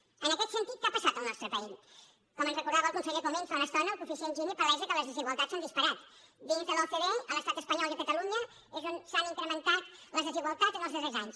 en aquest sentit què ha passat al nostre país com ens recordava el conseller comín fa una estona el coeficient gini palesa que les desigualtats s’han disparat dins de l’ ocde a l’estat espanyol i a catalunya és on s’han incrementat les desigualtats en els darrers anys